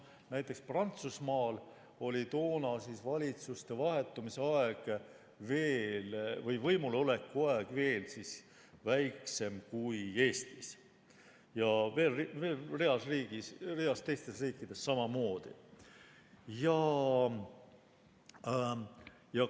Näiteks, Prantsusmaal oli toona valitsuste võimuloleku aeg veel väiksem kui Eestis, mõnes teises riigis samamoodi.